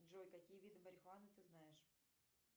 джой какие виды марихуаны ты знаешь